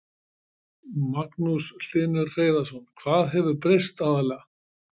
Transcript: Magnús Hlynur Hreiðarsson: Hvað hefur breyst aðallega?